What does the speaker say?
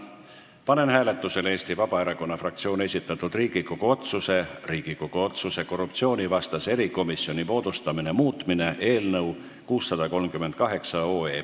Panen hääletusele Eesti Vabaerakonna fraktsiooni esitatud Riigikogu otsuse "Riigikogu otsuse "Korruptsioonivastase erikomisjoni moodustamine" muutmine" eelnõu 638.